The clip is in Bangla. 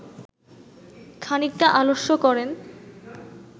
খানিকটা আলস্য করেন